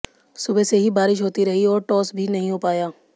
सुबह से ही बारिश होती रही और टॉस भी नहीं हो पाया